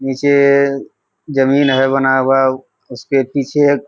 नीचे जमीन है बना हुआ उसके पीछे --